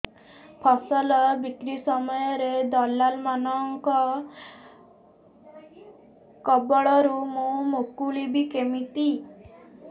ଫସଲ ବିକ୍ରୀ ସମୟରେ ଦଲାଲ୍ ମାନଙ୍କ କବଳରୁ ମୁଁ ମୁକୁଳିଵି କେମିତି